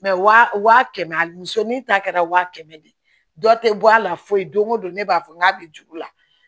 wa kɛmɛ misɛnnin ta kɛra wa kɛmɛ de ye dɔ tɛ bɔ a la foyi don ko don ne b'a fɔ n k'a bɛ juru la